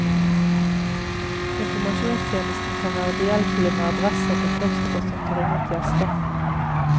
Informasjonstjenesten kan være behjelpelig med adresser til klostre som tar imot gjester.